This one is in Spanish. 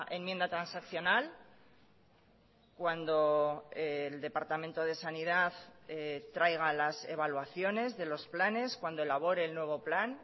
enmienda transaccional cuando el departamento de sanidad traiga las evaluaciones de los planes cuando elabore el nuevo plan